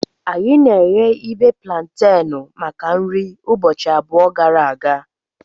Anyị na-eghe ibe plantenu maka nri ụbọchị abụọ gara aga.